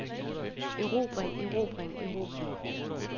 erobring erobring erobring